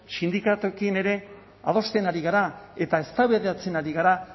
sindikatuekin ere adosten ari gara eta eztabaidatzen ari gara